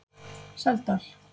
Seldal